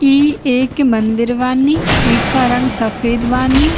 ई एके मंदिर बानी ई का रंग सफ़ेद बानी।